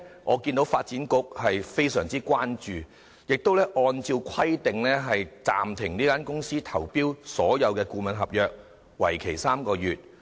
我看到發展局非常關注這次事件，並按照規定暫停這間公司投標所有顧問合約，為期3個月。